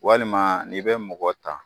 Walima n'i bɛ mɔgɔ ta.